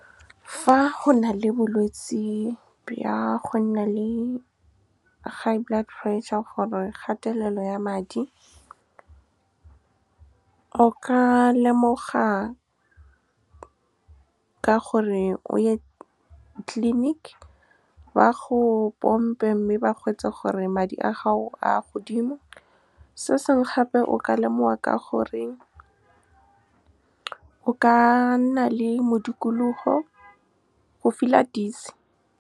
Fa go nale bolwetse bja go nna le high blood pressure or-e kgatelelo ya madi, o ka lemoga ka gore o ye clinic, ba go pompe, mme ba gore madi a gago a godimo. Se sengwe gape, o ka lemoga ka gore o ka nna le mo dikologo, o feel-a dizzy. Fa go nale bolwetse bja go nna le high blood pressure or-e kgatelelo ya madi, o ka lemoga ka gore o ye clinic, ba go pompe, mme ba gore madi a gago a godimo. Se sengwe gape, o ka lemoga ka gore o ka nna le mo dikologo, o feel-a dizzy.